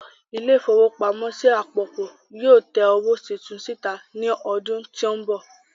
ilé-ìfowópamọ́sí àpapọ̀ yóò tẹ owó titun síta ní ọdún tí ń bọ̀.